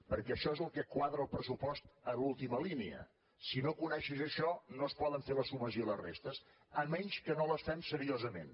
perquè això és el que quadra el pressupost en l’última línia si no coneixes això no es poden fer les sumes i les restes a menys que no les fem seriosament